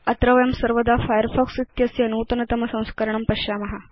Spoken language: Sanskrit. अत्र वयं सर्वदा फायरफॉक्स इत्यस्य नूतनतम संस्करणं पश्याम